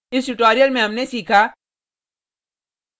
इस tutorial में हमने सीखा